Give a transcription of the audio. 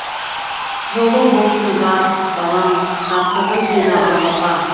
жолың болсын бар балам тапсырдым сені аллаға